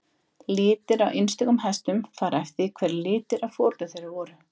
Litir á einstökum hestum fara eftir því hverjir litirnir á foreldrum þeirra voru.